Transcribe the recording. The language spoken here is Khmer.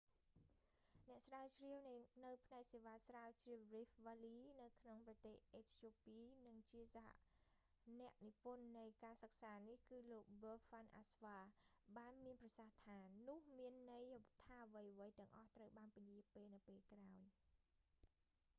អ្នកស្រាវជ្រាវនៅផ្នែកសេវាស្រាវជ្រាវ rift valley ក្នុងប្រទេសអេត្យូពី និងជាសហអ្នកនិពន្ធនៃការសិក្សានេះ គឺលោក ប៊ើហាន់ អាស្វា berhane asfaw បានមានប្រសាសន៍ថា នោះមានន័យថាអ្វីៗទាំងអស់ត្រូវបានពន្យាទៅពេលក្រោយ